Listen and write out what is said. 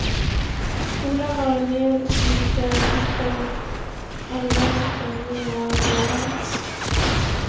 Skolan var mer sliten och den allmänna stämningen var råare.